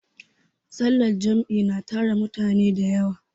sallar Jam'i na tara mutane da yawa